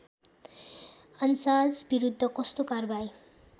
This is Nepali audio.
अन्साजविरुद्ध कस्तो कारबाही